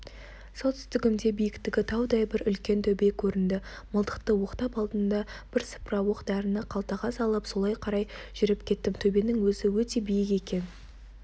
солтүстігімде биіктігі таудай бір үлкен төбе көрінді мылтықты оқтап алдым да бірсыпыра оқ-дәріні қалтаға салып солай қарай жүріп кеттім төбенің өзі өте биік екен